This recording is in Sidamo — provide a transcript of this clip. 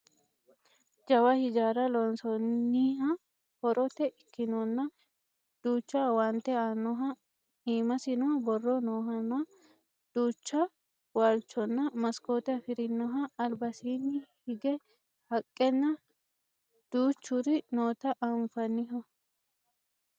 jawa hijaara loonsooniha horote ikkinohanna duucha owaante aannoha iimasino borro noohanna duucha waalchonna maskoote afirinoha albasiinni hige haqqenna duuchuri noota anfanniho